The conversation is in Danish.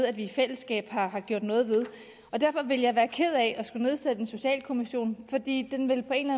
at vi i fællesskab har har gjort noget ved derfor vil jeg være ked af at skulle nedsætte en socialkommission fordi den på en